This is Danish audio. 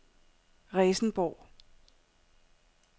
Resenborg